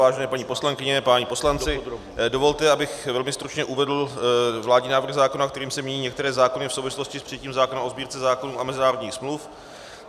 Vážené paní poslankyně, páni poslanci, dovolte, abych velmi stručně uvedl vládní návrh zákona, kterým se mění některé zákony v souvislosti s přijetím zákona o Sbírce zákonů a mezinárodních smluv.